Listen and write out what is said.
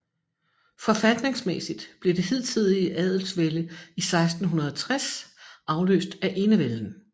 Forfatningsmæssigt blev det hidtidige adelsvælde i 1660 afløst af enevælden